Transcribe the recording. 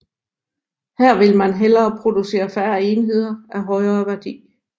Her vil man hellere producere færre enheder af højere værdi